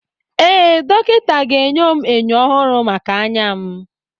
Ee, dọkịta ga-enye m enyo ọhụrụ maka anya m.